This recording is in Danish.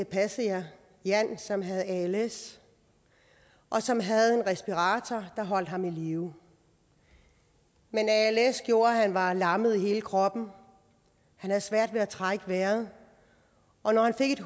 passede jeg jan som havde als og som havde en respirator der holdt ham i live men als gjorde at han var lammet i hele kroppen og havde svært ved at trække vejret og når han fik et